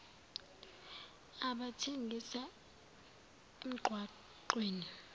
abathengisa emgwaqw eni